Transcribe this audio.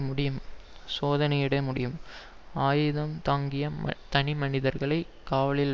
முடியும் சோதனையிட முடியும் ஆயுதம் தாங்கிய தனிமனிதர்களை காவலில்